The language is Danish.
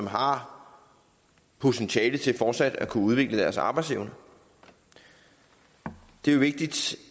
har potentiale til fortsat at kunne udvikle deres arbejdsevne det er vigtigt